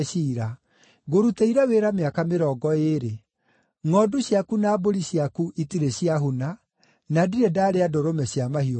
“Ngũrutĩire wĩra mĩaka mĩrongo ĩĩrĩ. Ngʼondu ciaku na mbũri ciaku itirĩ ciahuna, na ndirĩ ndarĩa ndũrũme cia mahiũ maku.